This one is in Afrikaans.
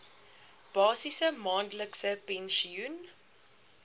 basiese maandelikse pensioen